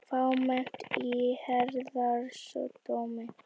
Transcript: Fámennt í Héraðsdómi